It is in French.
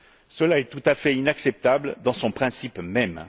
Cela est tout à fait inacceptable dans son principe même.